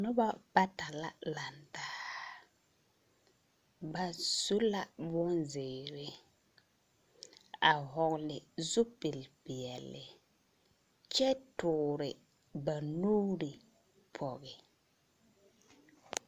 Nobɔ bata la lantaa, ba su la bonzeere a hɔɔle zupilpeɛle kyɛ ba nuuri pɔge.